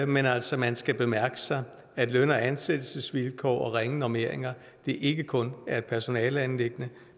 men altså man skal bemærke at løn og ansættelsesvilkår og ringe normeringer ikke kun er et personaleanliggende